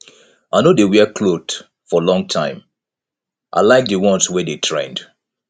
i no dey wear clothe for long time i like di ones wey dey trend